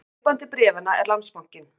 Kaupandi bréfanna er Landsbankinn